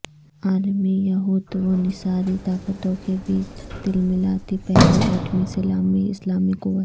عالمی یہود و نصاری طاقتوں کے بیچ تلملاتی پہلی ایٹمی اسلامی قوت